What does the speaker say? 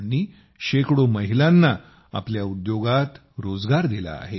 त्यांनी शेकडो महिलांना आपल्या कंपनीत रोजगार दिला आहे